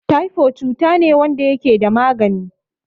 Taifo cutane wanda yakeda magani